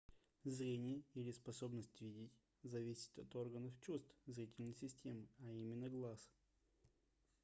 зрение или способность видеть зависит от органов чувств зрительной системы а именно глаз